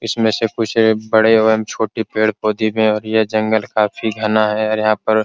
इसमें से कुछ बड़े एवं छोटे पेड़-पौधे भी है और यह जंगल काफी घना है और यहां पर --